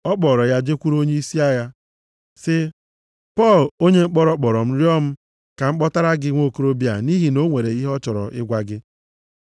Ọ kpọọrọ ya jekwuru onyeisi agha, sị. “Pọl, onye mkpọrọ, kpọrọ m rịọ m ka m kpọtara gị nwokorobịa a nʼihi na o nwere ihe ọ chọrọ ịgwa gị.”